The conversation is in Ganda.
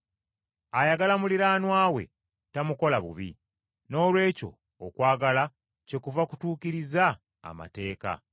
Ayagala muliraanwa we tamukola bubi; noolwekyo okwagala kyekuva kutuukiriza amateeka.